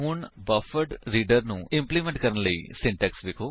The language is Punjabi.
ਹੁਣ ਬਫਰਡਰੀਡਰ ਨੂੰ ਇਮ੍ਪ੍ਲੇਮੰਟ ਕਰਨ ਲਈ ਸਿੰਟੈਕਸ ਵੇਖੋ